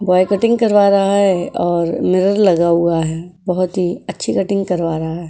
Boy cutting करवा रहा है और मिरर लगा हुआ है बहोत ही अच्छी कटिंग करवा रहा है।